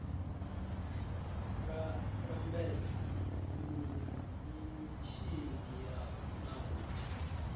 la lambedza mimishini na u